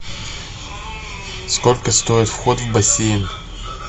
сколько стоит вход в бассейн